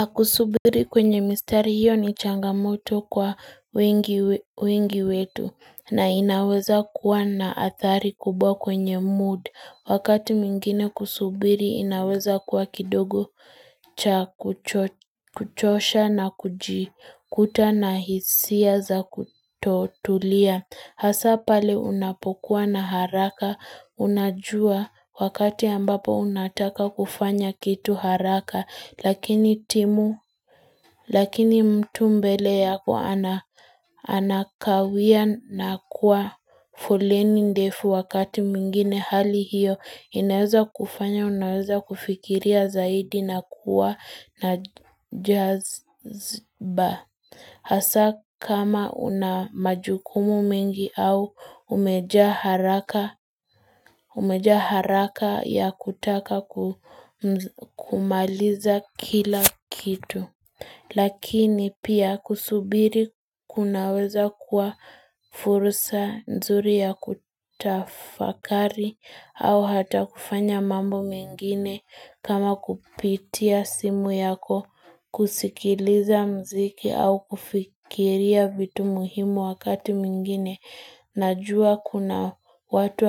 Na kusubiri kwenye mistari hiyo ni changamoto kwa wengi wetu na inaweza kuwa na athari kubwa kwenye mood. Wakati mwingine kusubiri inaweza kuwa kidogo cha kuchosha na kujikuta na hisia za kutotulia. Hasa pale unapokuwa na haraka unajua wakati ambapo unataka kufanya kitu haraka lakini timu lakini mtu mbele yako anakawia na kuwa foleni ndefu wakati mwingine hali hiyo inaweza kufanya unaweza kufikiria zaidi na kuwa na jazba. Hasaa kama una majukumu mengi au umejaa umejaa haraka ya kutaka kumaliza kila kitu. Lakini pia kusubiri kunaweza kuwa fursa nzuri ya kutafakari au hata kufanya mambo mengine kama kupitia simu yako kusikiliza mziki au kufikiria vitu muhimu wakati mwingine. Najua kuna watu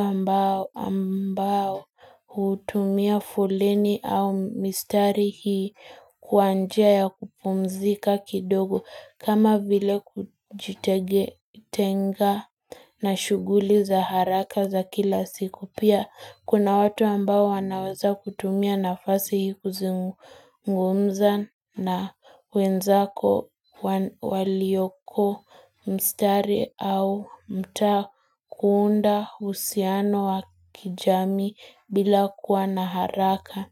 ambao hutumia fuleni au mistari hii kwa njia ya kupumzika kidogo kama vile kujitenga na shughuli za haraka za kila siku pia. Kuna watu ambao wanaweza kutumia nafasi hii kuzungumza na wenzako walioko mstari au mtaa kuunda uhusiano wa kijamii bila kuwa na haraka.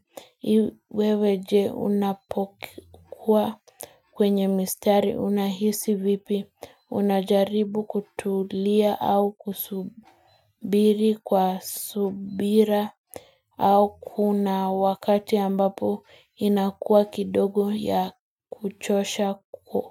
Wewe je unapokuwa kwenye mistari unahisi vipi? Unajaribu kutulia au kusubiri kwa subira? Au kuna wakati ambapo inakuwa kidogo ya kuchosha kwa.